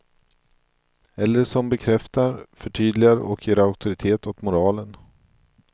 Eller som bekräftar, förtydligar och ger auktoritet åt moralen.